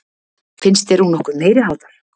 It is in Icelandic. Finnst þér hún nokkuð meiriháttar?